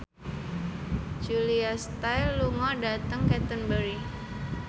Julia Stiles lunga dhateng Canterbury